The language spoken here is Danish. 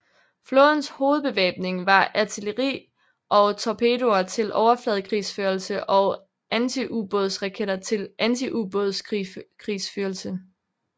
Flådens hovedbevæbning var artilleri og torpedoer til overfladekrigsførelse og antiubådsraketter til antiubådskrigsførelse